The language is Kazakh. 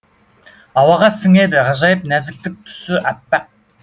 ауаға сіңеді ғажайып нәзіктік түсі әппақ